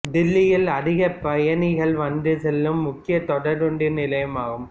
தில்லியில் அதிக பயணிகள் வந்து செல்லும் முக்கிய தொடர்வண்டி நிலையம் ஆகும்